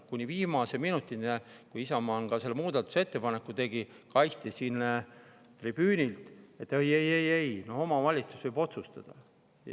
Kuni viimase minutini, kui Isamaa selle muudatusettepaneku tegi, kaitsti siin tribüünil seda, et ei-ei-ei-ei, omavalitsus võib otsustada.